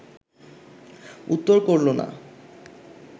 উত্তর করল না